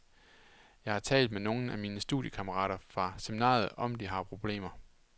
Jeg har talt med nogle af mine studiekammerater fra seminariet om de her problemer.